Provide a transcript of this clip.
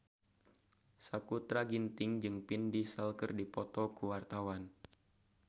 Sakutra Ginting jeung Vin Diesel keur dipoto ku wartawan